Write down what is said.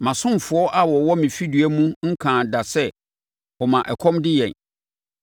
Mʼasomfoɔ a wɔwɔ me fidua mu nkaa da sɛ, ‘Ɔma ɛkɔm de yɛn.’